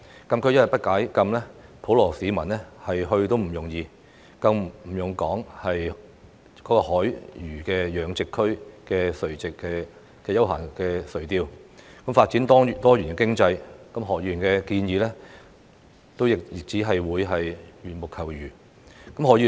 禁區一天不解禁，普羅市民要前往都不容易，更不用說在海魚養殖區進行休閒垂釣，發展多元經濟，何議員的建議亦只會是緣木求魚。